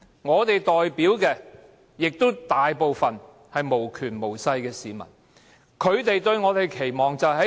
我們所代表的市民，大部分也是無權無勢的。